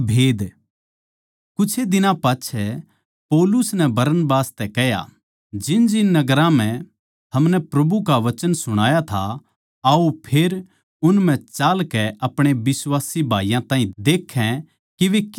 कुछे दिनां पाच्छै पौलुस नै बरनबास तै कह्या जिनजिन नगरां म्ह हमनै प्रभु का वचन सुणाया था आओ फेर उन म्ह चालकै अपणे बिश्वासी भाईयाँ ताहीं देखै के वे किस तरियां सै